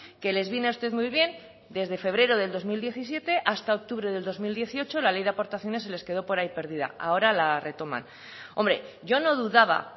que les viene a ustedes muy bien que desde febrero del dos mil diecisiete hasta octubre de dos mil dieciocho la ley de aportaciones se les quedo por ahí perdida ahora la retoman hombre yo no dudaba